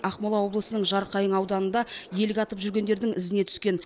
ақмола облысының жарқайың ауданында елік атып жүргендердің ізіне түскен